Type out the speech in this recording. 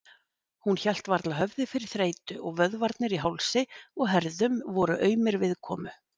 Hún hélt varla höfði fyrir þreytu og vöðvarnir í hálsi og herðum voru aumir viðkomu.